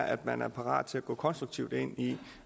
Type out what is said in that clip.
at man er parat til at gå konstruktivt ind i